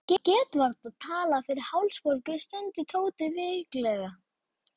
Ég get varla talað fyrir hálsbólgu, stundi Tóti veiklulega.